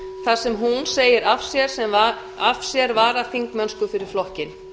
þar sem hún segir af sér varaþingmennsku fyrir flokkinn